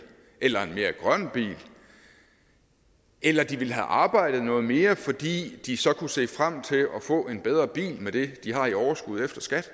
eller en mere grøn bil eller de ville have arbejdet noget mere fordi de så kunne se frem til at få en bedre bil med det de har i overskud efter skat